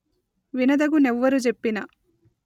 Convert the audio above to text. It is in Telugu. వినదగు నెవ్వరు జెప్పిన